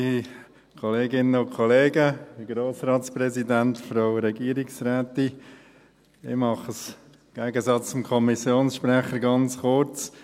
Ich mache es, im Gegensatz zum Kommissionssprecher, ganz kurz.